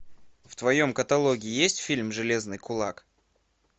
в твоем каталоге есть фильм железный кулак